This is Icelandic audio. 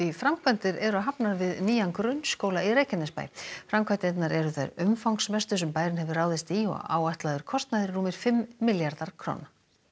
framkvæmdir eru hafnar við nýjan grunnskóla í Reykjanesbæ framkvæmdirnar eru þær umfangsmestu sem bærinn hefur ráðist í og áætlaður kostnaður er rúmir fimm milljarðar króna